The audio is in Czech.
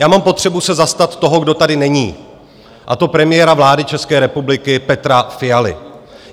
Já mám potřebu se zastat toho, kdo tady není, a to premiéra vlády České republiky Petra Fialy.